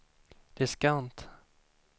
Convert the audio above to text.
diskant